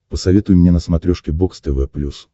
посоветуй мне на смотрешке бокс тв плюс